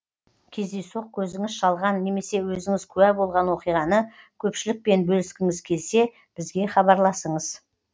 кездейсоқ көзіңіз шалған немесе өзіңіз куә болған оқиғаны көпшілікпен бөліскіңіз келсе бізге хабарласыңыз